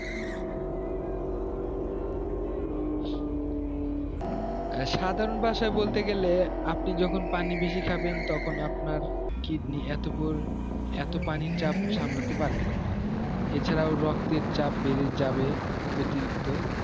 হ্যাঁ সাধারণ ভাষায় বলতে গেলে আপনি যখন পান বেশি খাবেন তখন আপনার kidney এতো পানির চাপ সামলাতে পারবে না এছাড়াও রক্তের চাপ বেড়ে যাবে অতিরিক্ত